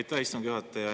Aitäh, istungi juhataja!